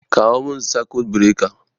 Kawo min sakut birekar